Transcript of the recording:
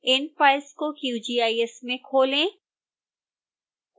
इन files को qgis में खोलें